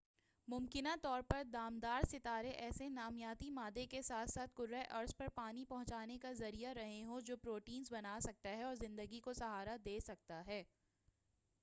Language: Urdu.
ممکنہ طور پر دمدار ستارے ایسے نامیاتی مادے کے ساتھ ساتھ کرہ ارض پر پانی پہنچانے کا ذریعہ رہے ہوں جو پروٹینز بنا سکتا ہے اور زندگی کو سہارا دے سکتا ہے